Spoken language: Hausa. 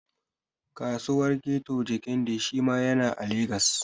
Kasuwar Keto Jekande shi ma ya na Jahar Legas